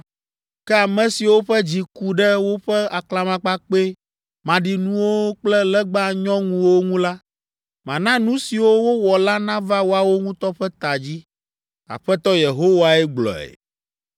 Ke ame siwo ƒe dzi ku ɖe woƒe aklamakpakpɛ maɖinuwo kple legba nyɔŋuwo ŋu la, mana nu siwo wowɔ la nava woawo ŋutɔ ƒe ta dzi. Aƒetɔ Yehowae gblɔe.”